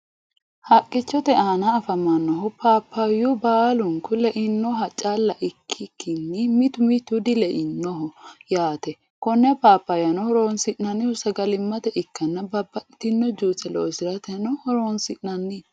haqichote aanna afamanohu pappayu baalunku leinnoha cala ikikinni mittu mittu dileinoho yaate konne pappayano horosi'nanihu sagalimate ikanni babaxitino juice loosateno horoonsi'nanni.